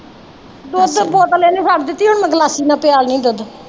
ਦੁੱਧ ਬੋਤਲ ਇਹਨੇ ਛੱਡ ਦਿੱਤੀ ਹੁਣ ਮੈਂ ਗਲਾਸੀ ਨਾਲ ਪਿਆ ਦਿਨੀ ਦੁੱਧ